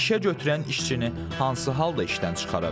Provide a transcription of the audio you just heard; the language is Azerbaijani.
Bəs işəgötürən işçini hansı halda işdən çıxara bilər?